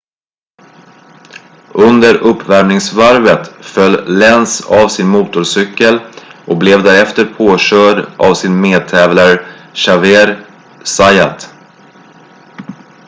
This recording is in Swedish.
under uppvärmningsvarvet föll lenz av sin motorcykel och blev därefter påkörd av sin medtävlare xavier zayat